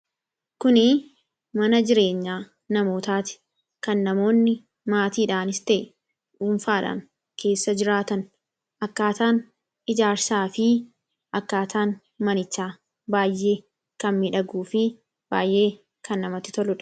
Kuni mana jireenya namootaati kan namoonni maatiidhaanis ta'e dhuunfaadhaan keessa jiraatan akkaataan ijaarsaa fi akkaataan manichaa baay'ee kan midhaguu fi baay'ee kan namatti tolludha.